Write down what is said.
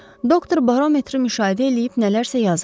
Doktor barometri müşahidə eləyib nələrsə yazırdı.